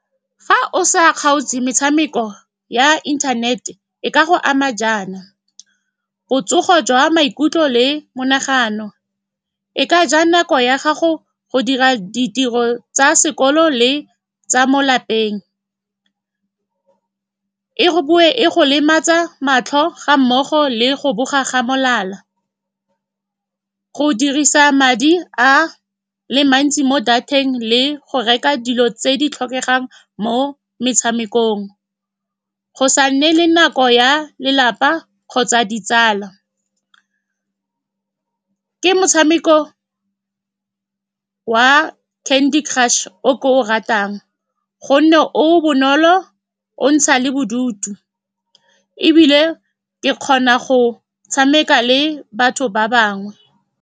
Fa o sa kgaotse metshameko ya internet-e, e ka go ama jaana, botsogo jwa maikutlo le monagano, e ka ja nako ya gago go dira ditiro tsa sekolo le tsa mo lapeng, e go boe e go lematsa matlho, gammogo le go boga ga molala. Go dirisa madi a le mantsi mo data-eng le go reka dilo tse di tlhokegang mo metshamekong, go sa nne le nako ya lelapa kgotsa ditsala. Ke motshameko wa Candy Crush o ke o ratang ka gonne o bonolo, o ntsha le bodutu, ebile ke kgona go tshameka le batho ba bangwe.